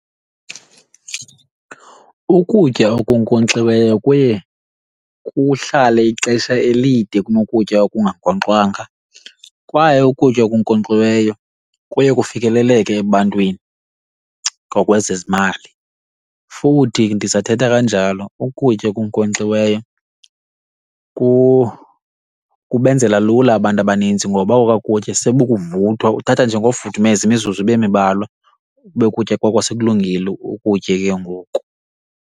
Ukutya okunkonkxiweyo kuye kuhlale ixesha elide kunokutya okungankxwanga kwaye ukutya okunkonkxiweyo kuye kufikeleleke ebantwini ngokwezezimali. Futhi ndisathetha kanjalo ukutya okunkonkxiweyo kubenzela lula abantu abaninzi ngoba okwa kutya sebukuvuthwa uthatha nje ngofudumeza imizuzu ibe mibalwa kube ukutya kwakho sekulungile ukutye ke ngoku.